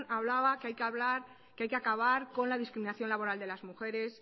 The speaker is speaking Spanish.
hablaba que hay que acabar con la discriminación laboral de las mujeres